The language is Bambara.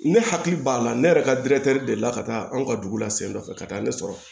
Ne hakili b'a la ne yɛrɛ ka deli la ka taa an ka dugu la sen dɔ fɛ ka taa ne sɔrɔ